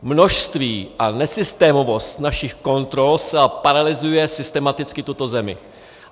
Množství a nesystémovost našich kontrol zcela paralyzuje systematicky tuto zemi.